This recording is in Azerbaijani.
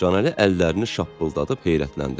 Canəli əllərini şappıldadıb heyrətləndi.